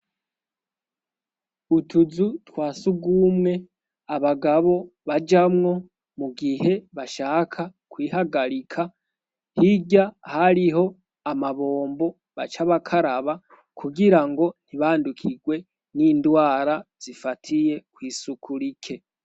Utuzu twa sugumwe abagabo bajamwo mu gihe bashaka kwihagarika, hirya hariho amabombo baca bakaraba, kugirango ntibandukigwe n'indwara zifatiye kw'isuku rike.